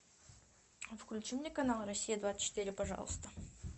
включи мне канал россия двадцать четыре пожалуйста